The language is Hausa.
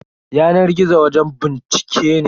Yanar gizo wajen bincike ne.